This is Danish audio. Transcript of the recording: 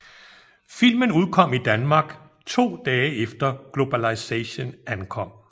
Filmen udkom i Danmark to dage efter Globalization ankom